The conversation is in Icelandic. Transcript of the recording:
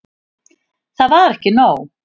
Það var ekki nóg.